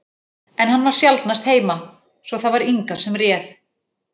En hann var sjaldnast heima, svo það var Inga sem réð.